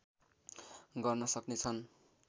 गर्न सक्ने छन्